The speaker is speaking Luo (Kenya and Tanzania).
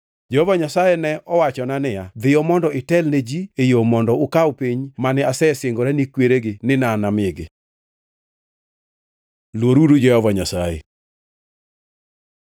Jehova Nyasaye ne owachona niya, “Dhiyo mondo itelne ji e yo mondo ukaw piny mane asesingora ni kweregi ni anamigi.” Luoruru Jehova Nyasaye